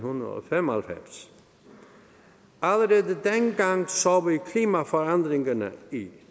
fem og halvfems allerede dengang så vi klimaforandringerne i